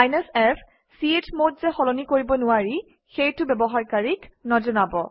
f160 চমদ যে সলনি কৰিব নোৱাৰি সেইটো ব্যৱহাৰকাৰীক নজনাবা